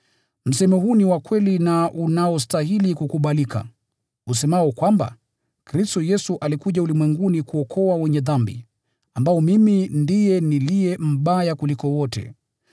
Msemo huu ni wa kweli na unaostahili kukubalika, usemao kwamba: Kristo Yesu alikuja ulimwenguni kuokoa wenye dhambi, ambao mimi ndiye niliye mbaya kuliko wote.